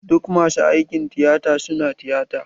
Duk masu aikin tiyata su na tiyata.